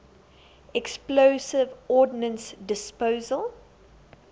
explosive ordnance disposal